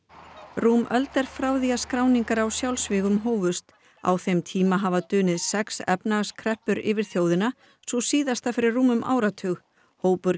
rúm öld er frá því skráningar á sjálfsvígum hófumst á þeim tíma hafa dunið sex efnahagskreppur yfir þjóðina sú síðasta fyrir rúmum áratug hópur